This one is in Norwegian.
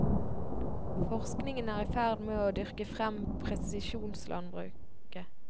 Forskningen er i ferd med å dyrke frem presisjonslandbruket.